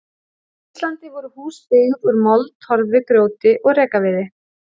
Á Íslandi voru hús byggð úr mold, torfi, grjóti og rekaviði.